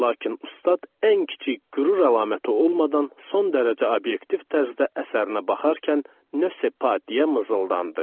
Lakin ustad ən kiçik qürur əlaməti olmadan son dərəcə obyektiv tərzdə əsərinə baxarkən "nö se pa" deyə mızıldandı.